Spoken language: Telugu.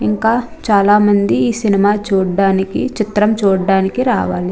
ఇంకా చల మంది ఈ సినిమా చూడడానికి ఈ చిత్రం చూడడానికి రవళి.